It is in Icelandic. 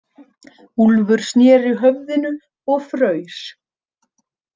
Úlfur snéri höfðinu og fraus.